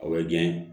O ye gɛn ye